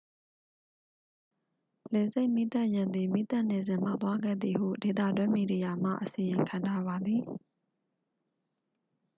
လေဆိပ်မီးသတ်ယာဉ်သည် မီးသတ်နေစဉ် မှောက်သွားခဲ့သည်ဟု ဒေသတွင်းမီဒီယာမှ အစီရင်ခံထားပါသည်